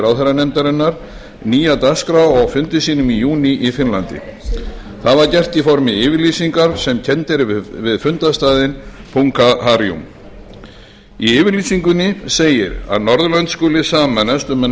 ráðherranefndarinnar nýja dagskrá á fundi sínum í júní í finnlandi það var gert í formi yfirlýsingar sem kennd er við fundarstaðinn punkaharju í yfirlýsingunni segir að norðurlönd skuli sameinast um að